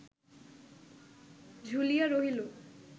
ঝুলিয়া রহিল